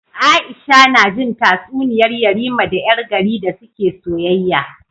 Aisha najin tatsuniyar yarima da yar gari da suke soyayya